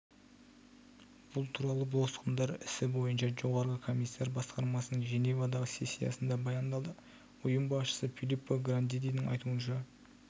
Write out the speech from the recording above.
бұл туралы босқындар ісі бойынша жоғарғы комиссар басқармасының женевадағы сессиясында баяндалды ұйым басшысы филлиппо грандидің айтуынша